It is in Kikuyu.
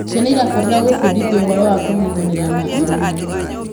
Ciana irabatara gubundithio ũhoro wa kunyitanira na aruna